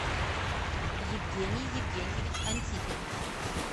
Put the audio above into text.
евгений евгеньевич антипин